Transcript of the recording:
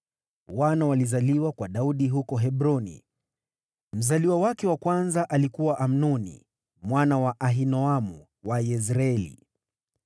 Wana walizaliwa kwa Daudi huko Hebroni: Mzaliwa wake wa kwanza alikuwa Amnoni mwana wa Ahinoamu wa Yezreeli;